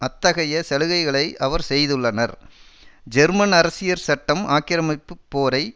அத்தகைய சலுகைகளை அவர் செய்துள்ளனர் ஜெர்மன் அரசியற் சட்டம் ஆக்கிரமிப்பு போரை